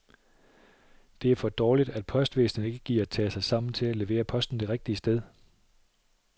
Det er for dårligt, at postvæsnet ikke gider tage sig sammen til at levere posten det rigtige sted.